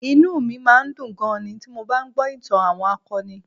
Inú mi máa ń dùn gan-an ni ti mo bá ń gbọ́ ìtàn àwọn akọni